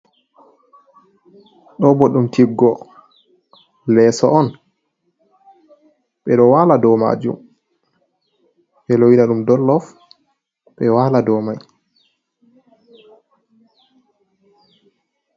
Ɗo bo ɗum tiggo leeso on ɓeɗo wala do majum be lowana ɗum m dollof be wala do mai.